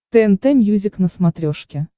тнт мьюзик на смотрешке